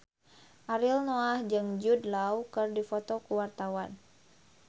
Ariel Noah jeung Jude Law keur dipoto ku wartawan